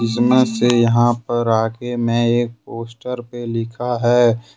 इसमें से यहां पर आगे में एक पोस्टर पे लिखा है।